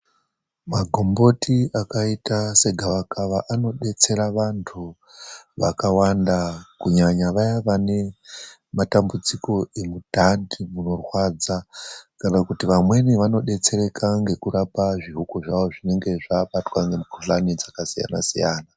Makomboti akaita segavakava anodetsera vanthu vakawanda. Kunyanya vaya vanematambudziko emundani munorwadza. Kana kuti vamweni vanodetsereka ngekurapa zvihuku zvavo zvinenge zvabatwa ngemikhuhlana dzakakasiyana-siyana.